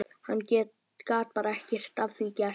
Hann gat bara ekkert að því gert.